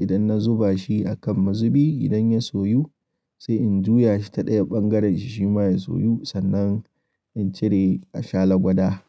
idan na zuba shi akan mazubi idan ya soyu sai in juya shi ta ɗaya ɓangaren shi shima ya soyu sannan in cire a sha lagwada.